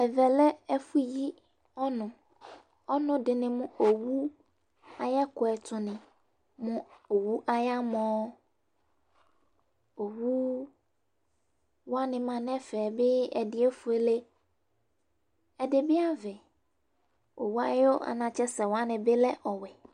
Ɛvɛ lɛ ɛfʋyi ɔnʋ Ɔnʋ dɩnɩ mʋ owʋ ayʋ ɛkʋɛdɩnɩ mʋ owʋ ayamɔ Owʋ wanɩ ma nʋ ɛfɛ bɩ ɛdɩ efuele, ɛdɩ bɩ avɛ Owʋ ayʋ anatsɛ sɛ wani bɩ alɛ ɔwɛ